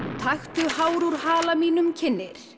taktu hár úr hala mínum kynnir